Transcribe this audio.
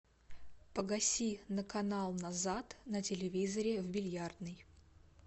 погаси на канал назад на телевизоре в бильярдной